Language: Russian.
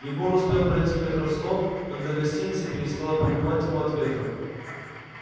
егор успел пройти метров сто когда гостиница перестала прикрывать его от ветра